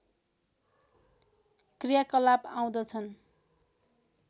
क्रियाकलाप आउँदछन्